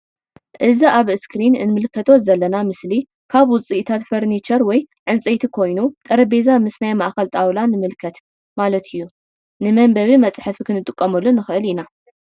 እዚ ኣብ እስክሪን እንምልከቶ ዘለና ምስሊ ካብ ውጽኢታት ፈርኒቸር ወይ ዕንጽየቲ ኮይኑ ጠረጲዛ ምስ ናይ ማእከል ጣውላ ንምልከት ማለት እዩ። ን ምንበቢ መጽሐፊ ክንጥቀመሉ ንክእል ኢና።